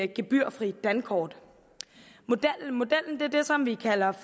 gebyrfri dankort modellen er den som vi kalder